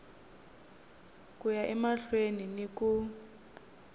ku ya emahlweni ni ku